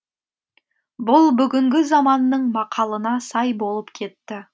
бұл бүгінгі заманның мақалына сай болып кетті